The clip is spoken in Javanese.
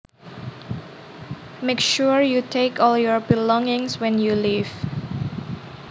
Make sure you take all your belongings when you leave